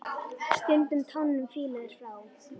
Stundum tánum fýla er frá.